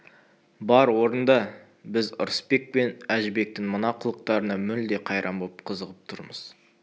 бар орында біз ырысбек пен әжібектің мына қылықтарына мүлде қайран боп қызығып тұрмыз